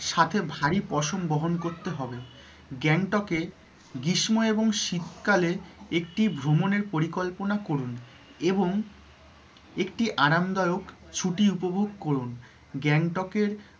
সাথে ভারী পোষণ বহন করতে হবে। গ্যাংটক এ গ্রীষ্ম এবং শীতকালে একটি ভ্রমণের পরিকল্পনা করুন এবং একটি আরামদায়ক ছুটি উপভোগ করুন গ্যাংটক এর